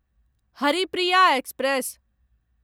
Haripriya express